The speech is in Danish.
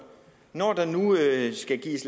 når der nu skal gives